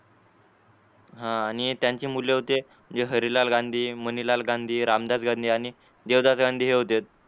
हा आणि त्यांची मुले होते जे हरिलाल गांधी मणिलाल गांधी रामदास गांधी यांनी देवदास गांधी हे होते.